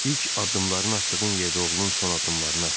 İlk addımlarını atdığın yerdə oğlun son addımlarını atdı.